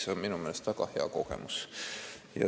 See on minu meelest väga hea kogemus.